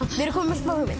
við